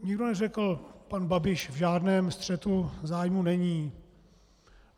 Nikdo neřekl: pan Babiš v žádném střetu zájmů není.